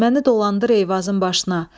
Məni dolandır Eyvazın başına.